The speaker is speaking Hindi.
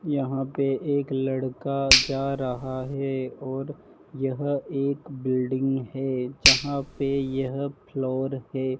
यहां पे एक लड़का जा रहा है और यह एक बिल्डिंग है जहां पे यह फ्लोर है।